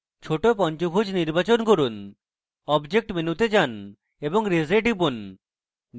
ছোট পঞ্চভুজ নির্বাচন করুন object মেনুতে যান এবং raise এ টিপুন